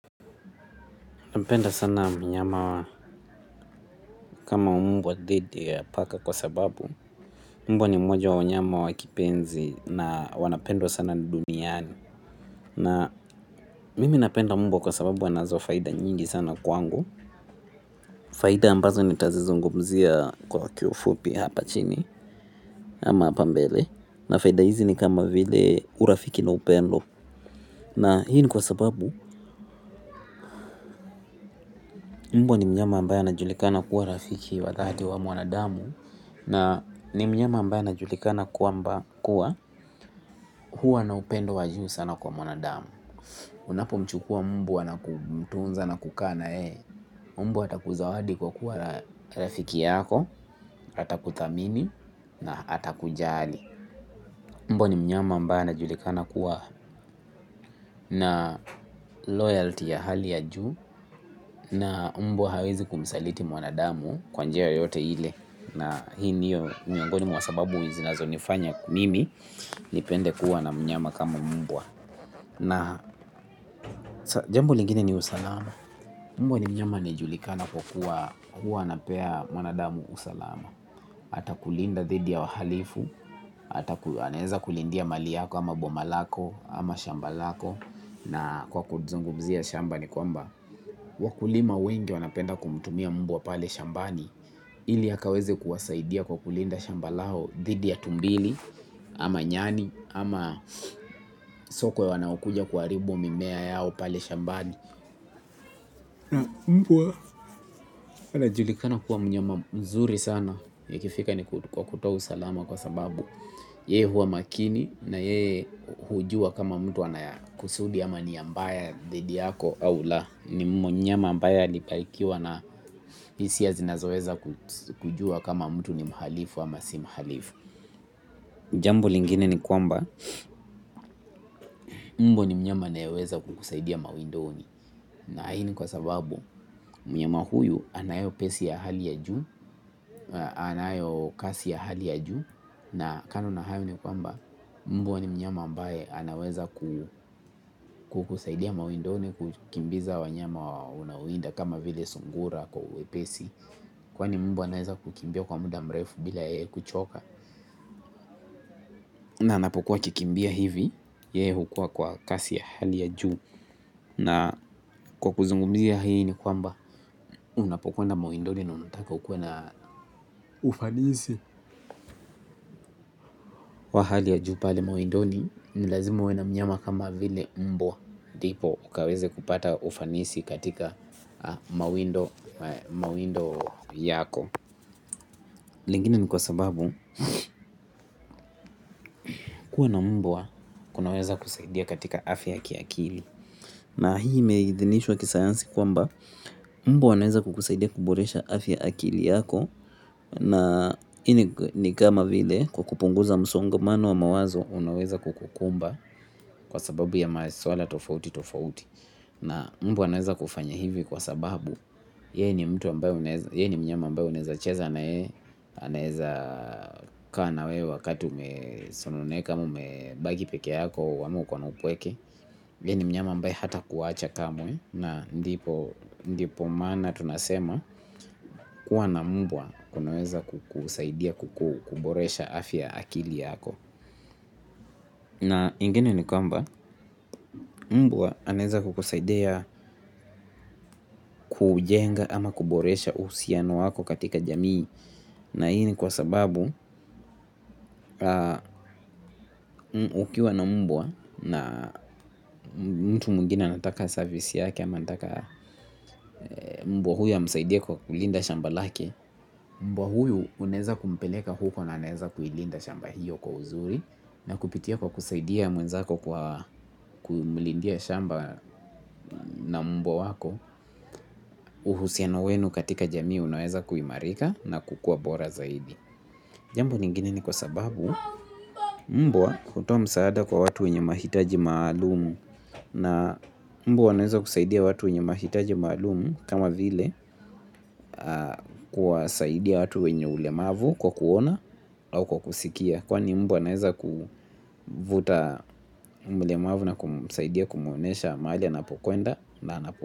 Penda sana mnyama kama umbwa dhidi ya paka kwa sababu mbwa ni mmoja wa nyama wa kipenzi na wanapendwa sana duniani. Na mimi napenda mbwa kwa sababu anazo faida nyingi sana kwangu. Faida ambazo nita zizungumzia kwa kiufupi hapa chini ama hapa mbele. Na faida hizi ni kama vile urafiki na upendo. Na hii ni kwa sababu mbwa ni mnyama ambaye ana julikana kuwa rafiki wa dhati wa mwanadamu. Na ni mnyama ambaye ana julikana kwamba kuwa huwa na upendo wajuu sana kwa mwanadamu. Unapo mchukua mbwa na kumtunza na kukaa na yeye mbwa ata kuzawadi kwa kuwa rafiki yako, ata kudhamini na ata kujali. Mbwa ni mnyama ambaye ana julikana kuwa na loyalty ya hali ya juu. Na mbwa hawezi kumsaliti mwanadamu kwa njia yoyote ile na hii niyo miongoni mwa sababu zinazo nifanya mimi nipende kuwa na mnyama kama mbwa na jambo lingine ni usalama mbwa ni mnyama anayejulikana kwa kuwa kuwa anapea mwanadamu usalama ata kulinda dhidi ya wahalifu ata aneza kulindia mali yako ama bomalako ama shambalako na kwa kudzungu mzia shamba ni kwamba wakulima wengi wanapenda kumtumia mbwa pale shambani ili akaweze kuwasaidia kwa kulinda shamba lao dhidi ya tumbili, ama nyani, ama sokwe wanaokuja kuharibu mimea yao pale shambani. Mbwa anajulikana kuwa mnyama mzuri sana ikifikika ni kwa kutoa usalama kwa sababu yeye huwa makini na yeye hujua kama mtu anaya kusudi ama nia mbaya dhidi yako au la ni munyama ambaye alibarikiwa na hisia zinazoweza kujua kama mtu ni mhalifu ama si mhalifu. Jambo lingine ni kwamba mbwa ni mnyama anayeweza kukusaidia mawindoni na hii ni kwa sababu mnyama huyu anayo pesi ya hali ya juu anayo kasi ya hali ya juu na kando na hayo ni kwamba mbwa ni mnyama ambaye anaweza kukusaidia mawindoni kukimbiza wanyama unaowinda kama vile sungura kwa uwe pesi kwani mbwa anaeza kukimbia kwa muda mrefu bila yeye kuchoka. Na napokuwa kikimbia hivi yeye hukua kwa kasi ya hali ya juu. Na kwa kuzungumzia hii ni kwamba unapokwenda mawindoni na unataka ukuwe na ufanisi wa hali ya juu pale mawindoni nilazima uwe na mnyama kama vile mbwa. Dipo ukaweze kupata ufanisi katika mawindo yako. Lingine ni kwa sababu kuwa na mbwa kunaweza kusaidia katika afya ya kiakili. Na hii imeidhinishwa kisayansi kwamba mbwa anaweza kukusaidia kuboresha afya akili yako. Na ini ni kama vile kwa kupunguza msongo manu wa mawazo unaweza kukukumba kwa sababu ya maswala tofauti tofauti. Na mbwa anaweza kufanya hivi kwa sababu yeye ni mnyama ambaye uneza cheza na yeye. Anaeza kaa na wewe wakati ume sononeka ama ume bagi peke yako ama uko na upweke yeye ni mnyama ambaye hata kuwacha kamwe na ndipo maana tunasema kuwa na mbwa kunaweza kukusaidia kukuboresha afya akili yako. Na ingine ni kwamba mbwa anaeza kukusaidia kujenga ama kuboresha uhusiano wako katika jamii. Na hii ni kwa sababu ukiwa na mbwa na mtu mwingine anataka service yake ama anataka mbwa huyo amsaidie kwa kulinda shamba lake. Mbwa huyu unaeza kumpeleka huko na anaeza kuilinda shamba hiyo kwa uzuri. Na kupitia kwa kusaidia mwenzako kwa kumulindia shamba na mbwa wako uhusiano wenu katika jamii unaweza kuimarika na kukua bora zaidi. Jambo lingine ni kwa sababu mbwa hutoa msaada kwa watu wenye mahitaji maalumu na mbwa wanaweza kusaidia watu wenye mahitaji maalum kama vile kuwa saidia watu wenye ulemavu kwa kuona au kwa kusikia. Kwa ni mbwa anaeza kuvuta umlemavu na kumsaidia kumuonesha mahali ana pokwenda na na pokwenda.